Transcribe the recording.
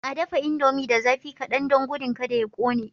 A dafa indomie da zafi kadan don gudun kada ya kone.